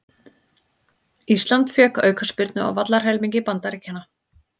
Ísland fékk aukaspyrnu á vallarhelmingi Bandaríkjanna